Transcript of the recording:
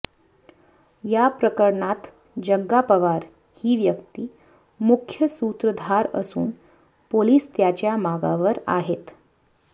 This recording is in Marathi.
या प्रकरणात जग्गा पवार ही व्यक्ती मुख्य सूत्रधार असून पोलीस त्याच्या मागावर आहेत